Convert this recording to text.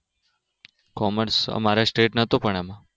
Commerce પણ મારે State નતુ પણ એમાં